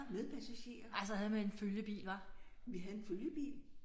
Med passagerer. Vi havde en følgebil